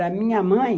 Da minha mãe,